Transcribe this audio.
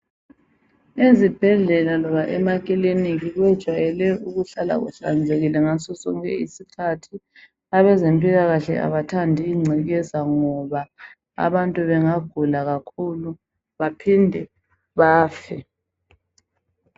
Ezibhedlela loba emakilinika kujayele ukuhlala kuhlanzekile ngazo zonke izikhathi abezempilakahle abathandi ingcekeza ngoba abantu bengagupa kakhulu baphinde bafe